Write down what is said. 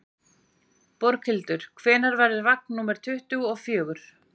Borghildur, hvenær kemur vagn númer tuttugu og fjögur?